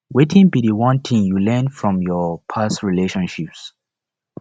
wetin be di one thing you learn from your past relationships